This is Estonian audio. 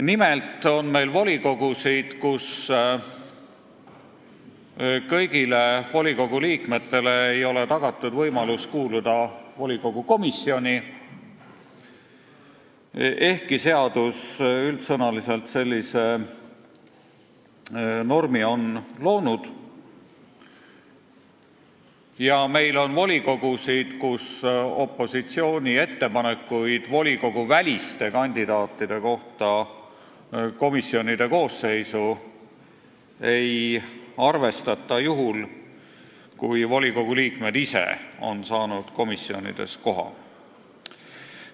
Nimelt on meil volikogusid, kus kõigile volikogu liikmetele ei ole tagatud võimalus kuuluda volikogu komisjoni, ehkki seadus on üldsõnaliselt sellise normi loonud, ja meil on volikogusid, kus opositsiooni ettepanekuid komisjoni koosseisu volikoguväliste kandidaatide kohta ei arvestata, juhul kui volikogu liikmed ise on komisjonides koha saanud.